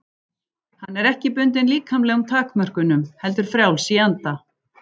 Hann er ekki bundinn líkamlegum takmörkunum heldur frjáls í anda.